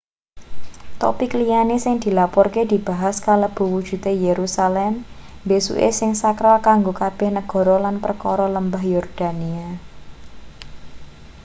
topik liyane sing dilaporke dibahas kalebu wujude yerusalem mbesuke sing sakral kanggo kabeh negara lan perkara lembah yordania